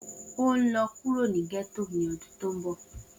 O nlọ kuro ni getto ni ọdun to nbo!